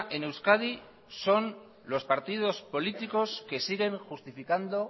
en euskadi son los partidos políticos que siguen justificando